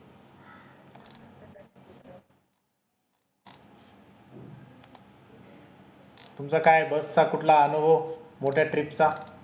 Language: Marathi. तुमचं काय बस चा कुठला अनुभव मोठ्या trip चा